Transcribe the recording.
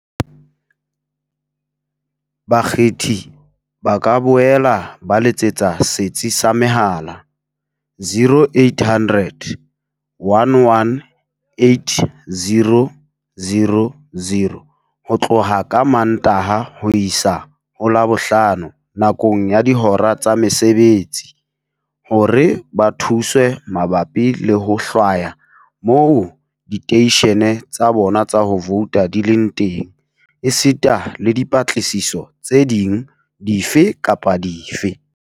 Bakgethi ba ka boela ba letsetsa Setsi sa Mehala, 0800 11 8000, ho tloha ka Mantaha ho isa ho Labohlano nakong ya dihora tsa mosebetsi, hore ba thuswe mabapi le ho hlwaya moo diteishene tsa bona tsa ho vouta di leng teng, esita le dipatlisiso tse ding dife kapa dife.